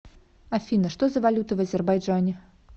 афина что за валюта в азербайджане